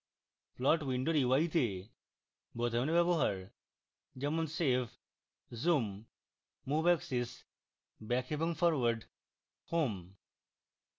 plot window ui তে বোতামের ব্যবহার যেমনsave zoom move axis back এবং forward এবং home